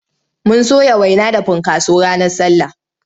Mun soya waina da funkaso ranar sallah.